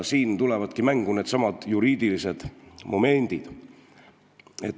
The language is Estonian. Siin tulevadki mängu needsamad juriidilised momendid.